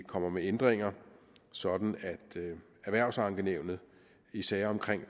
kommer med ændringer sådan at i erhvervsankenævnet i sager om